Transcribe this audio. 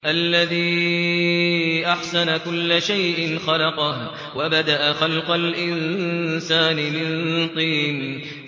الَّذِي أَحْسَنَ كُلَّ شَيْءٍ خَلَقَهُ ۖ وَبَدَأَ خَلْقَ الْإِنسَانِ مِن طِينٍ